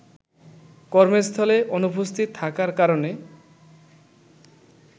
কর্মস্থলে অনুপস্থিত থাকার কারণে